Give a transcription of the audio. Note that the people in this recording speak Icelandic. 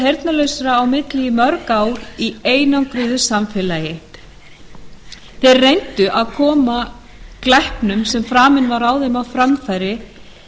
heyrnarlausum á milli í mörg ár í einangruðu samfélagi þeir reyndu að koma glæpnum sem framinn var á þeim á framfæri